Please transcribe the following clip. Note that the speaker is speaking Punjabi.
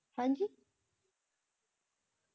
ਹਾਂਜੀ